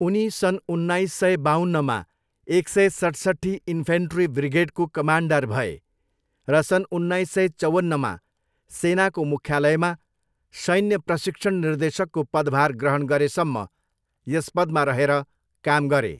उनी सन् उन्नाइस सय बाउन्नमा एक सय सैँसट्ठी इन्फेन्ट्री ब्रिगेडको कमान्डर भए र सन् उन्नाइस सय चौवन्नमा सेनाको मुख्यालयमा शैन्य प्रशिक्षण निर्देशकको पदभार ग्रहण गरेसम्म यस पदमा रहेर काम गरे।